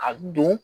A don